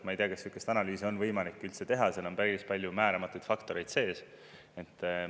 Ma ei tea, kas sellist analüüsi on võimalik üldse teha, seal on päris palju määramatuid faktoreid sees.